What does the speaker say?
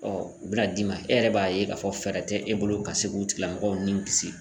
Ɔ u be na d'i ma e yɛrɛ b'a ye k'a fɔ fɛɛrɛ tɛ e bolo ka se k'u tigilamɔgɔw ninw kisi